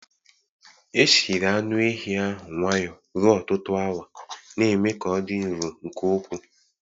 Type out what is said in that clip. Esiri anu ehi ahụ nwayọ ruo ọtụtụ awa, na-eme ka ọ dị nro nke ukwu.